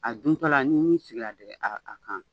A duntɔ la ni ɲin sigir'a a kan